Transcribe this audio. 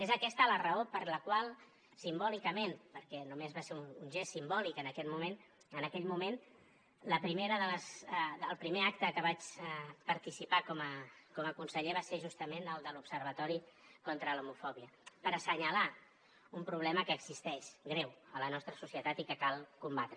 és aquesta la raó per la qual simbòlicament perquè només va ser un gest simbòlic en aquell moment el primer acte on vaig participar com a conseller va ser justament el de l’observatori contra l’homofòbia per assenyalar un problema que existeix greu a la nostra societat i que cal combatre